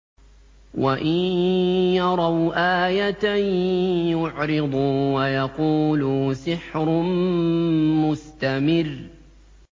وَإِن يَرَوْا آيَةً يُعْرِضُوا وَيَقُولُوا سِحْرٌ مُّسْتَمِرٌّ